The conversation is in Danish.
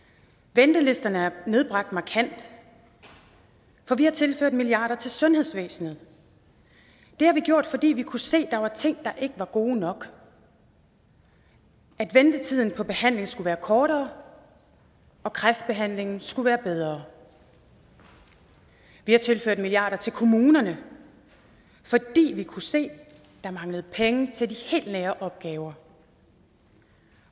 ventelisterne er nedbragt markant for vi har tilført milliarder til sundhedsvæsenet det har vi gjort fordi vi kunne se at der var ting der ikke var gode nok at ventetiden på behandling skulle være kortere og kræftbehandlingen skulle være bedre vi har tilført milliarder til kommunerne fordi vi kunne se at der manglede penge til de helt nære opgaver